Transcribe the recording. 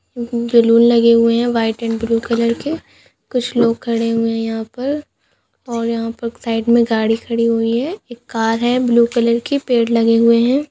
उम बल्लू लगे हुए है व्हाइट एड ब्लू कलर के कुछ लोग खड़े हुए है यहाँ पर और यहाँ पर साइड में गाड़ी खड़ी हुई है एक कर है ब्लू कलर की पेड़ लगे हुए है।